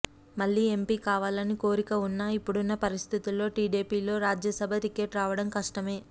మళ్లీ ఎంపీ కావాలని కోరిక వున్నా ఇప్పుడున్న పరిస్థితుల్లో టీడీపీ లో రాజ్యసభ టికెట్ రావడం కష్టమే